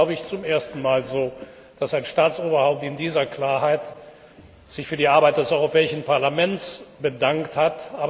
Es ist, glaube ich, zum ersten Mal so, dass ein Staatsoberhaupt in dieser Klarheit sich für die Arbeit des Europäischen Parlaments bedankt hat.